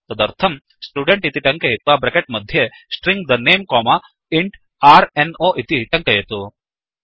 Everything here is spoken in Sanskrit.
तदर्थं स्टुडेन्ट् इति टङ्कयित्वा ब्रेकेट् मध्ये string the name comma int r no इति टङ्कयतु